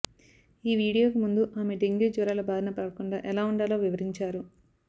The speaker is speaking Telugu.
ఈ వీడియోకి ముందు ఆమె డెంగ్యూ జ్వరాల బారినా పడకుండా ఎలా ఉండాలో వివరంచారు